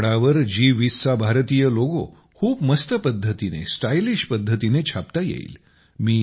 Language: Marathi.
कपड्यावर जी20 चा भारतीय लोगो खूप मस्त पद्धतीने स्टायलिश पद्धतीने छापता येईल